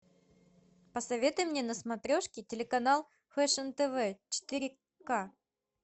посоветуй мне на смотрешке телеканал фэшн тв четыре ка